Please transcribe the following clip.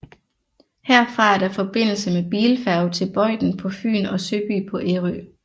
Herfra er der forbindelse med bilfærge til Bøjden på Fyn og Søby på Ærø